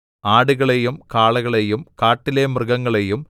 ആടുകളെയും കാളകളെയും കാട്ടിലെ മൃഗങ്ങളെയും